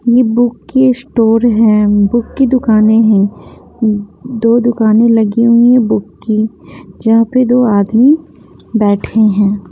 ये बुक की स्टोर है बुक की दुकानें हैं दो दुकानें लगी हुई हैं बुक की जहाँ पे दो आदमी बैठे हैं।